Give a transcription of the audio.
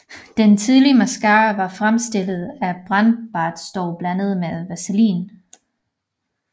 Denne tidlige mascara var fremstillet af brændbart støv blandet med vaseline